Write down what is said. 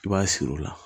I b'a siri o la